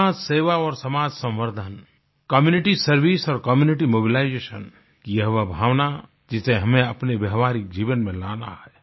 समाजसेवा और समाजसंवर्धन कम्यूनिटी सर्वाइस और कम्यूनिटी मोबिलाइजेशन यह वो भावना जिसे हमें अपने व्यवाहारिक जीवन में लाना है